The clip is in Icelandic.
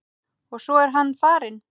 Og svo er hann farinn.